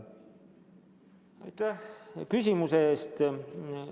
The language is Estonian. Aitäh küsimuse eest!